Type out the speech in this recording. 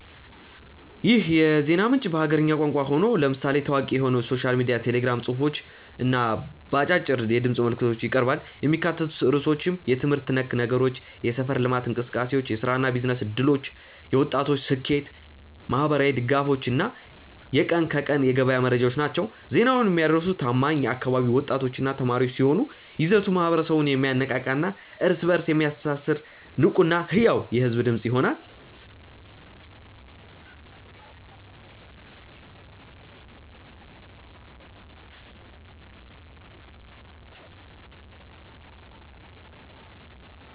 ይህ የዜና ምንጭ በሀገርኛ ቋንቋ ሆኖ፣ ለምሳሌ ታዋቂ በሆነው ሶሻል ሚዲያ ቴሌግራም ጽሑፎች እና በአጫጭር የድምፅ መልዕክቶች ይቀርባል። የሚካተቱት ርዕሶችም የትምህርት ነክ ነገሮች፣ የሰፈር ልማት እንቅሰቃሴዎች፣ የሥራና የቢዝነስ ዕድሎች፣ የወጣቶች ስኬት፣ ማኅበራዊ ድጋፎች እና የቀን ከቀን የገበያ መረጃዎች ናቸው። ዜናውን የሚያደርሱት ታማኝ የአካባቢው ወጣቶችና ተማሪዎች ሲሆኑ፣ ይዘቱ ማኅበረሰቡን የሚያነቃቃና እርስ በእርስ የሚያስተሳስር ንቁና ሕያው የሕዝብ ድምፅ ይሆናል።